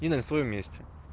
и нарисуем вместе